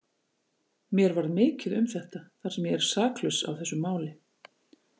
Mér varð mikið um þetta, þar sem ég er saklaus af þessu máli.